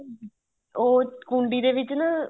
ਉਹ ਕੁੰਡੀ ਦੇ ਵਿੱਚ ਨਾ